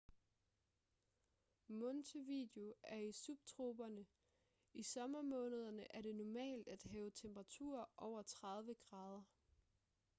montevideo er i subtroperne; i sommermånederne er det normalt at have temperaturer over 30°c